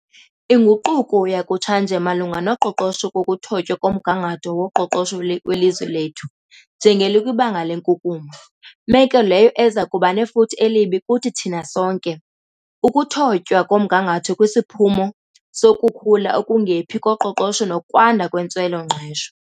Inguquko yakutshanje malunga noqoqosho kukuthotywa komgangatho woqoqosho welizwe lethu njengelikwibanga lenkunkuma, meko leyo eza kuba nefuthe elibi kuthi thina sonke. Ukuthotywa komgangatho kusiphumo sokukhula okungephi koqoqosho nokwanda kwentswelo-ngqesho.